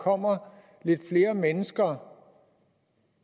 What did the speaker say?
kommer lidt flere mennesker